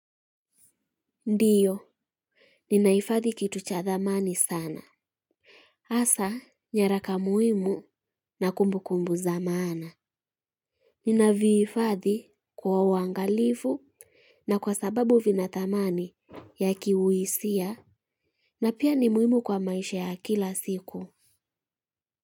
Ndiyo, ninahifadhi kitu cha thamani sana. Hasa, nyaraka muhimu na kumbu kumbu za maana. Nina viifadhi kwa uangalifu na kwa sababu vina thamani ya kiuhisia na pia ni muhimu kwa maisha ya kila siku.